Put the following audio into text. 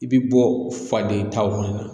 I bɛ bɔ faden ta fana na